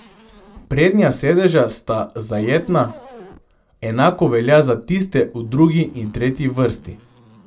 Prednja sedeža sta zajetna, enako velja za tiste v drugi in tretji vrsti.